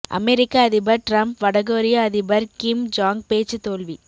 அமெரிக்க அதிபர் டிரம்ப் வடகொரிய அதிபர் கிம் ஜாங் பேச்சு தோல்வி